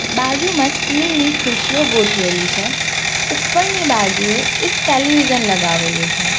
બાજુમાં સ્ટીલ ની ખુશીઓ ગોઠવેલી છે ઉપરની બાજુએ એક ટેલિવિઝન લગાવેલું છે.